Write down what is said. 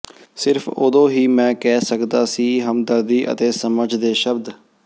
ਸਿਰਫ ਉਦੋਂ ਹੀ ਮੈਂ ਕਹਿ ਸਕਦਾ ਸੀ ਹਮਦਰਦੀ ਅਤੇ ਸਮਝ ਦੇ ਸ਼ਬਦ